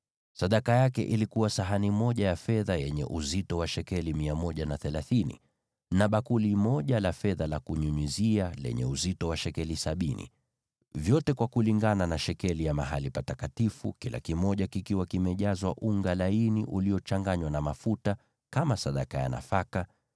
Sadaka aliyoleta ilikuwa sahani moja ya fedha yenye uzito wa shekeli 130, na bakuli moja la fedha la kunyunyizia lenye uzito wa shekeli sabini, vyote kulingana na shekeli ya mahali patakatifu, vikiwa vimejazwa unga laini uliochanganywa na mafuta kama sadaka ya nafaka;